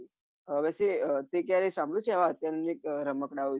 હવેથી તમે ક્યારે સાભળ્યું છે અત્યાઆધુનિક રમકડા વિશે